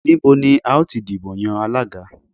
Níbo ni a ó ti dìbò yan Alága?